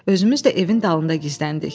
Özümüz də evin dalında gizləndik.